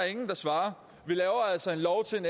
ingen der svarer vi laver altså en lov